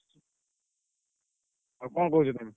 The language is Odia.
ଆଉ କଣ କହୁଛ ତମେ?